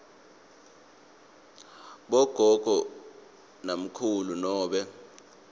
bogogo namkhulu nobe